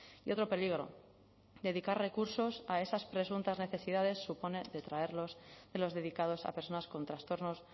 y otro peligro dedicar recursos a esas presuntas necesidades supone detraerlos de los dedicados a personas con trastornos